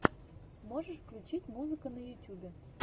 можешь включить музыка на ютубе